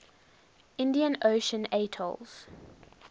indian ocean atolls